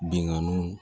Binganiw